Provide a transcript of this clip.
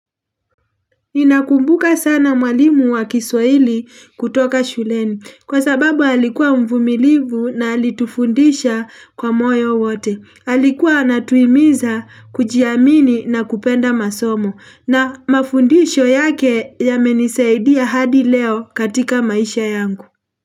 Ninakumbuka sana mwalimu wa kiswaili kutoka shuleni kwa sababu alikuwa mvumilivu na alitufundisha kwa moyo wote. Alikuwa atuimiza kujiamini na kupenda masomo na mafundisho yake yamenisaidia hadi leo katika maisha yangu.